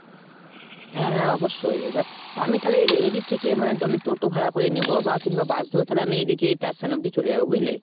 হ্যাঁ হ্যাঁ অবশ্যই। এবার আমি থালে এ~ এদিক থেকে মানে আমি toto ভাড়া করে নেবো কিংবা bus ধরে আমি এদিকে station অবধি চলে যাবো বুঝলে ?